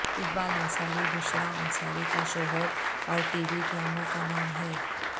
اقبال انصاری بشرا انصاری کا شوہر اور ٹی وی ڈراموں کا نام ہے